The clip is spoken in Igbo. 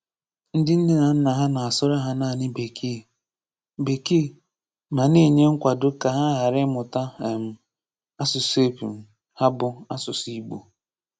Ndị nne na nna ha na-asụ̀rụ̀ ha naanị Bekee, Bekee, ma na-enye nkwàdo ka ha ghara ịmụta um asụsụ epum ha bụ́ asụsụ Ị̀gbò.